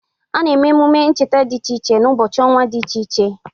A na-eme emume ncheta dị iche iche n'ụbọchị ọnwa dị iche iche.